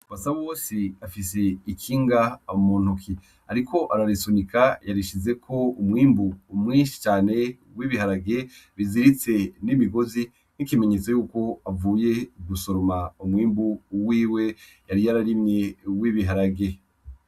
Basabo wose afise ikinga amu muntuki, ariko ararisunika yarishize ko umwimbu umwinshi cane w'ibiharage biziritse n'imigozi nk'ikimenyetso yuko avuye gusoroma umwimbu uwiwe yari yo ararimye w'ibiharage.